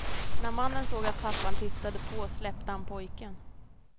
När mannen såg att pappan tittade på släppte han pojken.